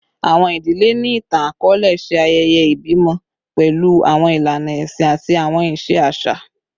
Awọn idile ni itan-akọọlẹ ṣe ayẹyẹ ibimọ pẹlu awọn ilana ẹsin ati awọn iṣe aṣa